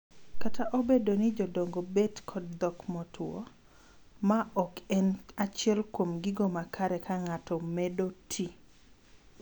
Kata obedo ni jodongo bet kod dhok motwo, ma ok en achiel kuom gigo makare ka ng'ato medo tii.